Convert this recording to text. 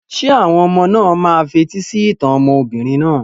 Ṣé àwọn ọmọ náà máa fetí sí ìtàn obìnrin náà?